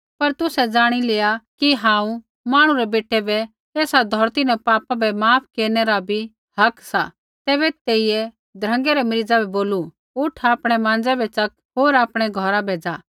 पर तुसै ज़ाणि लेआ कि हांऊँ मांहणु रै बेटै बै एसा धौरती न पापा बै माफ केरनै रा बी हक सा तैबै तेइयै ध्रँगै रै मरीज़ा बै बोलू उठ आपणै माँज़ै बै च़क होर आपणै घौरा बै ज़ा